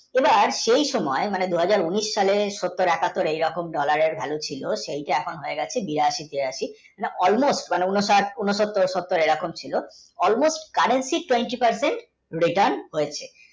সেই সময় মানে দু হাজার উনিশ সালে ষোত্তর একাত্তর এরকম dollar এর value ছিল সেটা হয়ে গেছে বিরাশী তিরাশি যা almost ঊনসত্তর সত্তর ছিল currently, twenty, ফive এ return হয়েছে